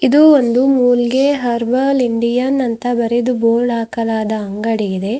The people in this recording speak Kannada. ಇದು ಒಂದು ಮೂಲ್ಗೆ ಹರ್ಬಲ್ ಇಂಡಿಯನ್ ಅಂತ ಬರೆದು ಬೋರ್ಡ್ ಹಾಕಲಾದ ಅಂಗಡಿ ಇದೆ.